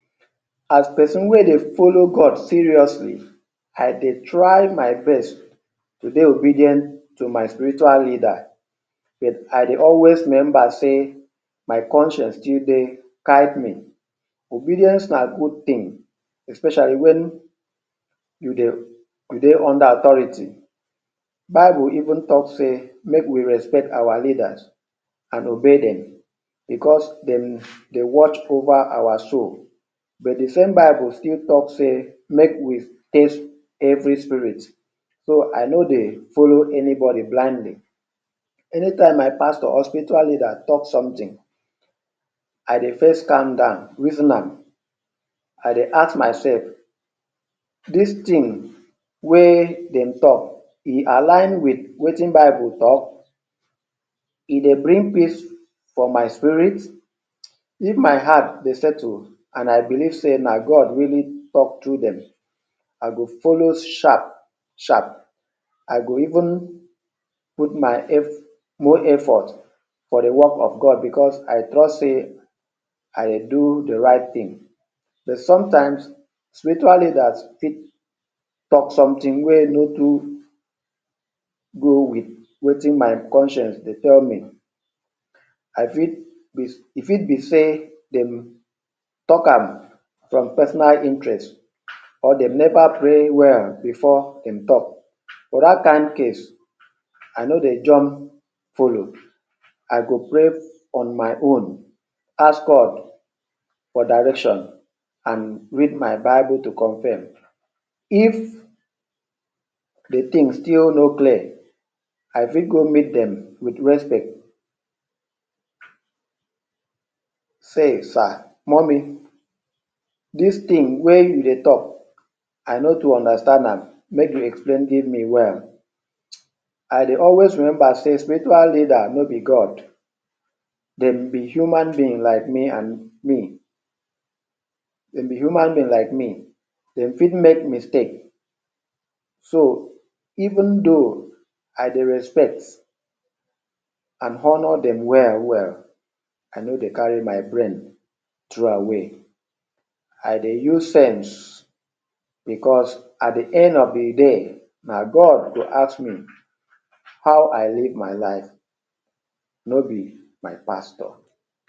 As person wey dey follow God seriously, I dey try my best to dey obedient to my spiritual leader. I dey always remember say my conscience still dey tigh ten. Obedience na good thing, especially when you dey you dey under authority. Bible even talk sey make we respect our leaders and obey dem because dem? dey watch over our soul but but de same bible still talk sey make we detest hating spirit so I no dey follow anybody blindly. Anytime my pastor or spiritual leader talk something I dey first calm down reason am, I dey ask myself “dis thing wey dem talk e align wit wetin bible talk”?, “e dey bring peace for my spirit”? If my heart dey settled and I believe sey na God wey talk through dem I go follow sharp sharp, I dey even put my? more effort for de work of God because I trust sey I dey do de right thing but sometimes spiritual leader fit talk something wey no too go wit wetin my conscience dey tell me. I fit? e fit be sey dem talk am for personal interest, dem never pray well before dem talk na dat kain case I no dey jump follow. I go pray on my own, ask God for direction and read my bible to confirm. If de thing still no clear, I fit go meet dem wit respect say “Sir, Mummy dis thing wey you dey talk I no too understand am make you explain give me well”. I dey always remember sey spiritual leader no be God, dem be human being like me and me, dem be human being like me, dem fit make mistake so even if tho I dey respect and honour dem well well, I no dey carry my brain throw away I dey use sense because at de end of de day na God go ask me how I live my life no be my pastor.